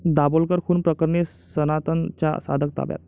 दाभोलकर खून प्रकरणी 'सनातन'चा साधक ताब्यात